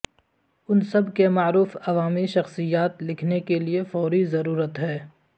ان سب کے معروف عوامی شخصیات لکھنے کے لئے فوری ضرورت ہے